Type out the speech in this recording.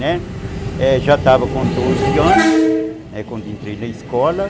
Né, já estava com doze anos, né, quando entrei na escola.